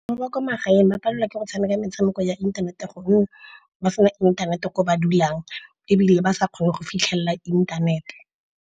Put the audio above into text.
Ba ba kwa magaeng ba palelwa ke go tshameka metshameko ya inthanete gonne ba se na inthanete ko ba dulang, ebile ba sa kgone go fitlhelela inthanete.